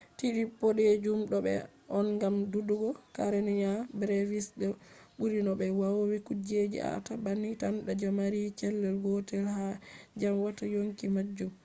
tide bodejum do fe’a on gam dudugo karenia brevis je buri no be vowi kuje fe’ata banni tan je mari cell gotel je ha dyam watta yonki majum